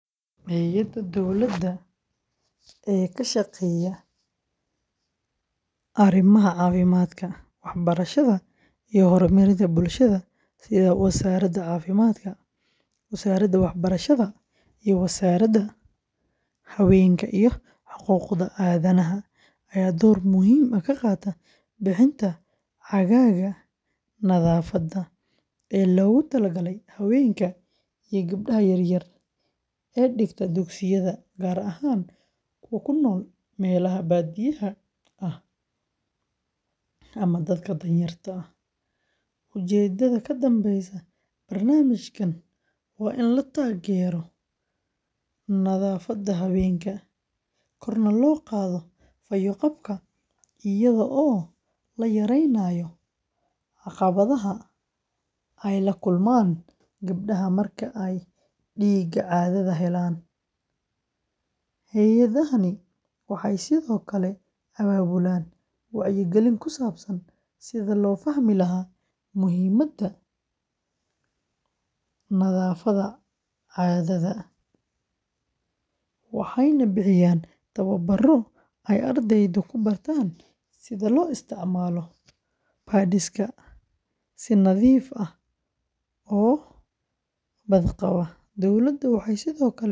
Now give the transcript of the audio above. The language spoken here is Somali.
Hay’adaha dowladda ee ka shaqeeya arrimaha caafimaadka, waxbarashada iyo horumarinta bulshada sida Wasaaradda Caafimaadka, Wasaaradda Waxbarashada, iyo Wasaaradda Haweenka iyo Xuquuqda Aadanaha ayaa door muhiim ah ka qaata bixinta caagagga nadaafadda ee loogu talagalay haweenka iyo gabdhaha yaryar ee dhigta dugsiyada, gaar ahaan kuwa ku nool meelaha baadiyaha ah ama dadka danyarta ah. Ujeeddada ka dambeysa barnaamijkan waa in la taageero nadaafadda haweenka, korna loo qaado fayo-qabka, iyadoo la yareynayo caqabadaha ay la kulmaan gabdhaha marka ay dhiigga caadada helaan. Hay’adahani waxay sidoo kale abaabulaan wacyigelin ku saabsan sidii loo fahmi lahaa muhiimada nadaafadda caadada, waxayna bixiyaan tababbarro ay ardaydu ku bartaan sida loo isticmaalo pads-ka si nadiif ah oo badqaba. Dowladda waxay sidoo kale iskaashi la sameysaa hay’adaha caalamiga ah.